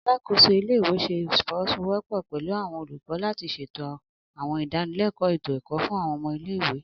Alakoso ile-iwe ṣe ifowosowopo pẹlu awọn olukọ lati ṣeto àwọn idanileko eto-ẹkọ fun àwọn ọmọ ile-iwe.